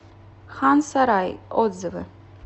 хан сарай отзывы